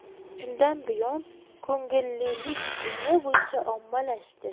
Shundan buyon ko‘ngillilik dunyo bo‘yicha ommalashdi.